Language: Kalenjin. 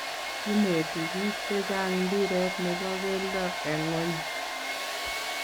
Kinetii biik che chang mpiret ne bo kelto eng ngony.